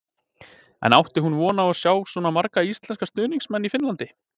En átti hún von á að sjá svona marga íslenska stuðningsmenn í Finnlandi?